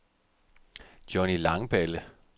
Johny Langballe